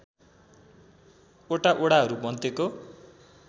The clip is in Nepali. वटा वडाहरू मध्येको